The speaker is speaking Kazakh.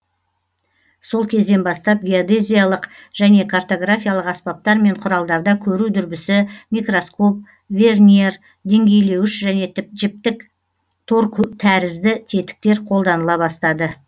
сол кезден бастап геодезиядық және картографиялық аспаптар мен құралдарда көру дүрбісі микроскоп верньер деңгейлеуіш және жіптік тор тәрізді тетіктер қолданыла бастады